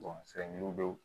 don